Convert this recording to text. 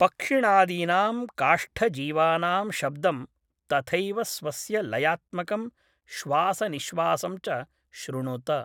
पक्षिणादीनां काष्ठजीवानां शब्दं, तथैव स्वस्य लयात्मकं श्वासनिःश्वासं च शृणुत।